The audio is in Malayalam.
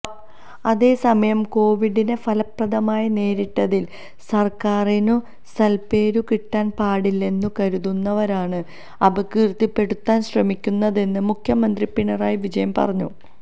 അതേസമയം കോവിഡിനെ ഫലപ്രദമായി നേരിട്ടതിൽ സർക്കാരിനു സൽപ്പേരു കിട്ടാൻ പാടില്ലെന്നു കരുതുന്നവരാണ് അപകീർത്തിപ്പെടുത്താൻ ശ്രമിക്കുന്നതെന്ന് മുഖ്യമന്ത്രി പിണറായി വിജയൻ പറഞ്ഞു